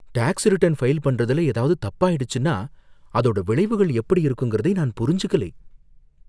Tax return file பண்றதுல ஏதாவது தப்பாயிடுச்சுன்னா அதோட விளைவுகள் எப்படி இருக்குங்குறதை நான் புரிஞ்சுக்கலை.